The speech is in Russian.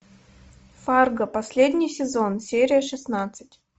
фарго последний сезон серия шестнадцать